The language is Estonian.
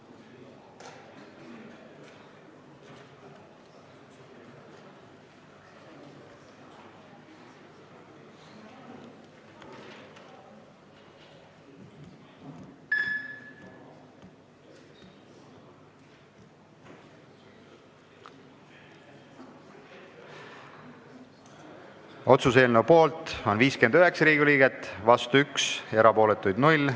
Hääletustulemused Otsuse eelnõu poolt on 59 Riigikogu liiget, vastu 1, erapooletuid 0.